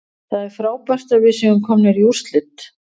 Það er frábært að við séum komnir í úrslit.